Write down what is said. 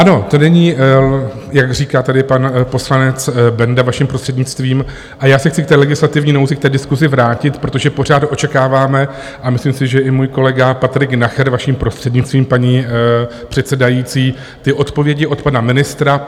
Ano, to není, jak říká tady pan poslanec Benda, vaším prostřednictvím, a já se chci k té legislativní nouzi, k té diskusi vrátit, protože pořád očekáváme - a myslím si, že i můj kolega Patrik Nacher, vaším prostřednictvím, paní předsedající - ty odpovědi od pana ministra.